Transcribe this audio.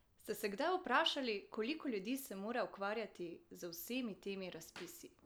Ste se kdaj vprašali, koliko ljudi se mora ukvarjati z vsemi temi razpisi?